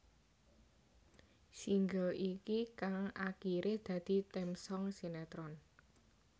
Single iki kang akiré dadi theme song sinetron